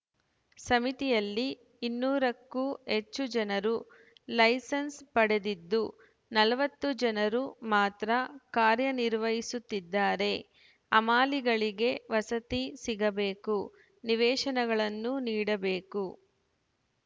ಸಮಿತಿಯಲ್ಲಿ ಇನ್ನೂರು ಕ್ಕೂ ಹೆಚ್ಚು ಜನರು ಲೈಸನ್ಸ‌ ಪಡೆದಿದ್ದು ನಲವತ್ತು ಜನರು ಮಾತ್ರ ಕಾರ್ಯ ನಿರ್ವಹಿಸುತ್ತಿದ್ದಾರೆ ಹಮಾಲಿಗಳಿಗೆ ವಸತಿ ಸಿಗಬೇಕು ನಿವೇಶನಗಳನ್ನು ನೀಡಬೇಕು